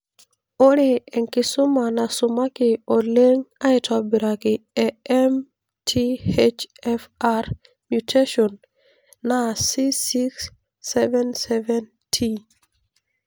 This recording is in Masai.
Ore ekisuma nasumaki oleng aitobiraki e MTHFR mutation, naa C677T.